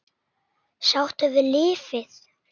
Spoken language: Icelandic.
Sáttur við lífið.